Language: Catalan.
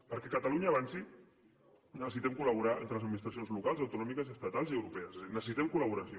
perquè catalunya avanci necessitem col·laborar entre les administracions locals autonòmiques estatals i europees és a dir necessitem col·laboració